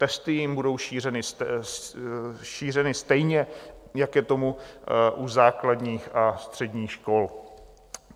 Testy jim budou šířeny stejně, jak je tomu u základních a středních škol.